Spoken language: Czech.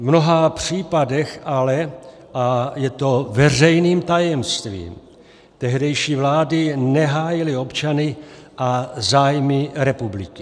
V mnoha případech ale - a je to veřejným tajemstvím - tehdejší vlády nehájily občany a zájmy republiky.